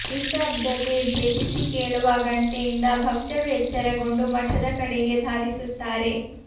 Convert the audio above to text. ನಿಶ್ಯಬ್ದತೆ ಭೇದಿಸಿ ಕೇಳುವ ಗಂಟೆಯಿಂದ ಭಕ್ತರು ಎಚ್ಚರಗೊಂಡು ಮಠದ ಕಡೆಗೆ ಧಾವಿಸುತ್ತಾರೆ